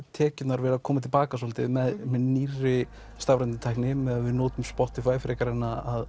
tekjurnar verið að koma til baka svolítið með nýrri stafrænni tækni að við notum Spotify frekar en að